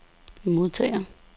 modtager